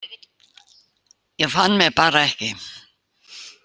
Ég fann mig bara ekki.